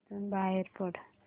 इथून बाहेर पड